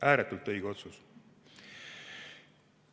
Ääretult õige otsus.